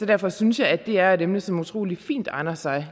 derfor synes jeg at det er et emne som utrolig fint egner sig